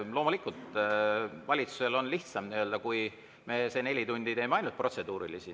Loomulikult, valitsusel on lihtsam, kui me see neli tundi esitame ainult protseduurilisi.